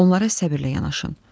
Onlara səbrlə yanaşın.